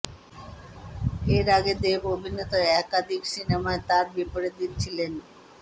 এর আগে দেব অভিনীত অধিকাংশ সিনেমায় তার বিপরীতে ছিলেন